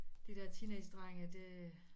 De der teenagedrenge det